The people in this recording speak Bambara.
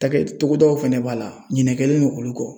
Ta kɛ togodaw fana b'a la ɲinɛ kɛlen don olu kɔ.